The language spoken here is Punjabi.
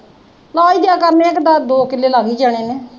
ਨਾਲ ਕਿਆ ਕਰਨਾ ਇਹਨੇ, ਦੋ ਕਿੱਲੇ ਲੱਗ ਈ ਜਾਣੇ ਨੇ